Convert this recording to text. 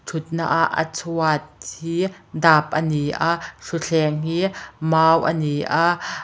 thutna a a chhuat hi dap a ni a thutthleng hi mau a ni a.